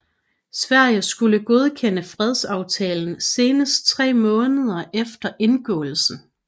Sverige skulle godkende fredsaftalen senest tre måneder efter indgåelsen